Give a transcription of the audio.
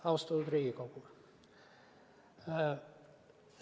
Austatud Riigikogu!